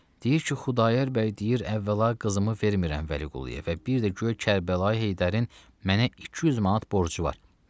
Deyir ki, Xudayar bəy deyir əvvəla qızımı vermirəm Vəliquluya və bir də guya Kərbəlayı Heydərin mənə 200 manat borcu var.